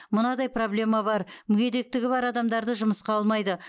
мынадай проблема бар мүдегектігі бар адамдарды жұмысқа алмайды